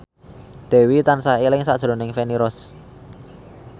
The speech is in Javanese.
Dewi tansah eling sakjroning Feni Rose